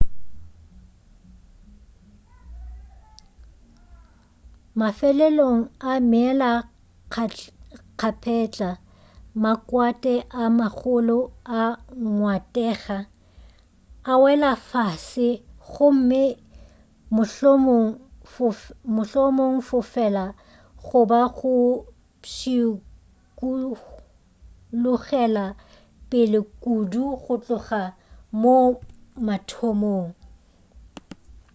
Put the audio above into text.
mafelelong a meelakgapetla makwate a magolo a ngwatega a wela fase gomme mohlomongwe fofela goba go pšhikulogela pele kudu go tloga moo mathomong